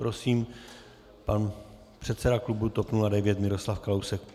Prosím, pan předseda klubu TOP 09 Miroslav Kalousek.